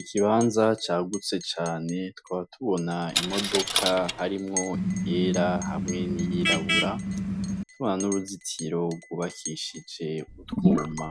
Ikibanza cagutse cane tukaba tubona imodoka yera hamwe n'iryirabura, tukaba tubona n'uruzitiro rwubakishije utwuma,